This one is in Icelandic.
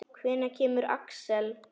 Hvenær kemur Axel?